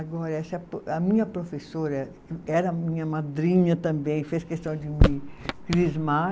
Agora, essa pro, a minha professora, era a era minha madrinha também, fez questão de me crismar,